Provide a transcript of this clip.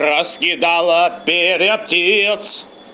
раскидала перья птиц